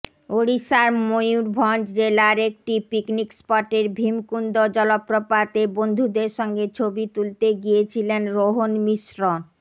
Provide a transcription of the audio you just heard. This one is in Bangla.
ওড়িষ্যার মেয়ুরভাঞ্জ জেলায় একটি পিকনিক স্পটের ভিমকুন্দ জলপ্রপাতে বন্ধুদের সঙ্গে ছবি তুলতে গিয়েছিলেন রোহন মিশ্র